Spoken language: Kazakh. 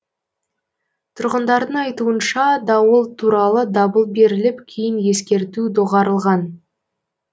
тұрғындардың айтуынша дауыл туралы дабыл беріліп кейін ескерту доғарылған